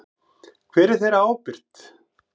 Hver er þeirra ábyrgt?